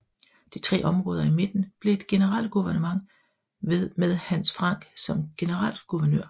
De tre områder i midten blev et Generalgouvernement med Hans Frank som generalguvernør